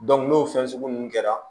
n'o fɛn sugu ninnu kɛra